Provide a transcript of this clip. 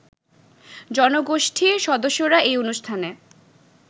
জনগোষ্ঠীর সদস্যরা এই অনুষ্ঠানে